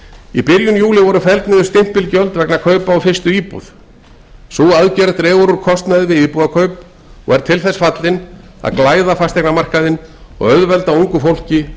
í byrjun júlí voru felld niður stimpilgjöld vegna kaupa á fyrstu íbúð sú aðgerð dregur úr kostnaði við íbúðakaup og er til þess fallin að glæða fasteignamarkaðinn og auðvelda ungu fólki